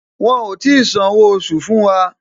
Wọn ò tí san owó oṣù fún wa